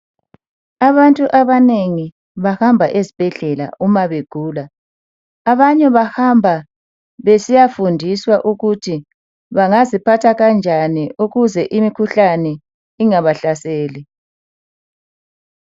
Abantu abanengi bahamba ezibhedlela uma begula. Abanye bahamba besiyafundiswa ukuthi bangaziphatha kanjani ukuze imikhuhlane ingabahlaseli.